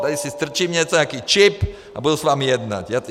Tady si strčím něco, nějaký čip, a budu s vámi jednat.